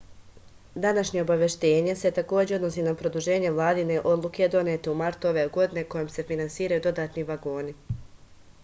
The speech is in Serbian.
današnje obaveštenje se takođe odnosi na produženje vladine odluke donete u martu ove godine kojom se finansiraju dodatni vagoni